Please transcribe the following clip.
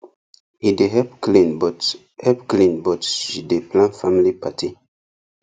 he dey help clean but help clean but she dey plan family party